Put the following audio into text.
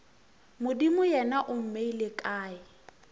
modimo yena o mmeile kae